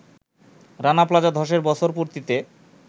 Rana Plaza ধসের বছর পূর্তিতে